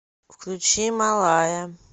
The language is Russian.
включи малая